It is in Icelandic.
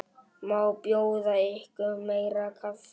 Má bjóða ykkur meira kaffi?